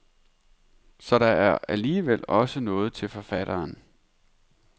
Så der er alligevel også noget til forfatteren.